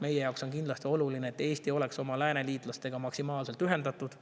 Meie jaoks on kindlasti oluline, et Eesti oleks oma lääneliitlastega maksimaalselt ühendatud.